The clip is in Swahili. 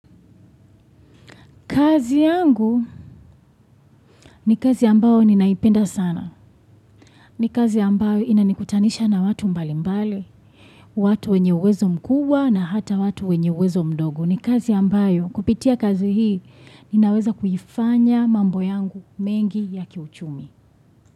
Kazi yangu ni kazi ambayo ninaipenda sana. Ni kazi ambayo inanikutanisha na watu mbali mbali. Watu wenye uwezo mkubwa na hata watu wenye uwezo mdogo. Ni kazi ambayo kupitia kazi hii ninaweza kuifanya mambo yangu mengi ya kiuchumi.